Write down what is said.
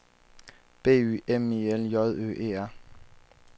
B Y M I L J Ø E R